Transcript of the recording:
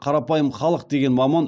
қарапайым халық деген маман